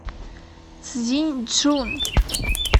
цзиньчжун